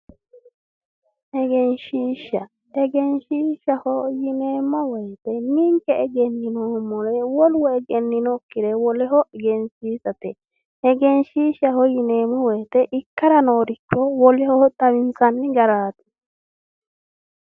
Egenshiishsha egenshiishshaho yineemmo woyite ninke egenninoommore wolu egenninokkire woleho egensiisate egenshiishshaho yineemmo woyite ikkara nooricho woleho xawinsanni garaati.